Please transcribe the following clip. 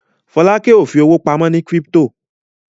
Folake o fí owo pàmò ní crypto.